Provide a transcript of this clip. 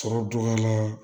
Sɔrɔ dɔgɔya la